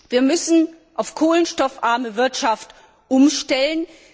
Wir müssen auf kohlenstoffarme Wirtschaft umstellen.